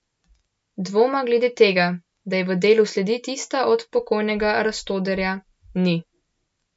Dvoma glede tega, da je v delu sledi tista od pokojnega Rastoderja, ni.